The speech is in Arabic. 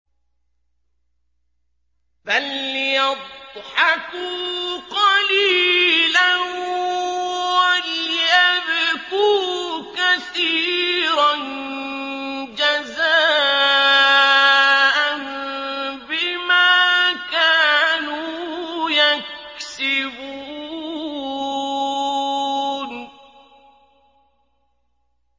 فَلْيَضْحَكُوا قَلِيلًا وَلْيَبْكُوا كَثِيرًا جَزَاءً بِمَا كَانُوا يَكْسِبُونَ